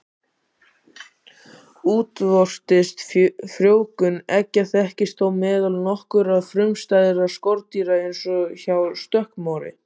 Útvortis frjóvgun eggja þekkist þó meðal nokkurra frumstæðra skordýra eins og hjá stökkmori.